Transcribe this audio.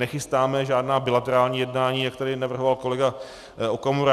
Nechystáme žádná bilaterální jednání, jak tady navrhoval kolega Okamura.